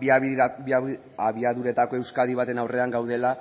bi abiaduretako euskadi baten aurrean gaudela